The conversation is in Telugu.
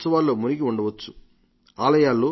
ఆలయాల్లో పూజా హృహాల్లో ఉత్సవాలు జరుపుకుంటూ ఉండవచ్చు